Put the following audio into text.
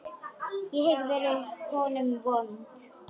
Ég hef verið honum vond.